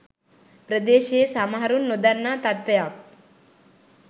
ප්‍රදේශයේ සමහරුන් නොදන්නා තත්ත්වයක්